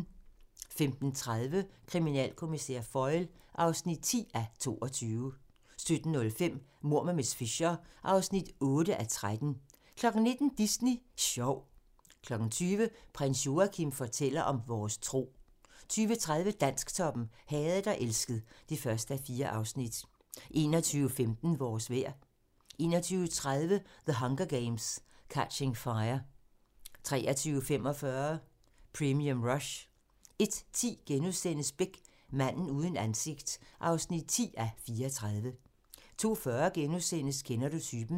15:30: Kriminalkommissær Foyle (10:22) 17:05: Mord med miss Fisher (8:13) 19:00: Disney Sjov 20:00: Prins Joachim fortæller om vores tro 20:30: Dansktoppen: Hadet og elsket (1:4) 21:15: Vores vejr 21:30: The Hunger Games: Catching Fire 23:45: Premium Rush 01:10: Beck: Manden uden ansigt (10:34)* 02:40: Kender du typen? *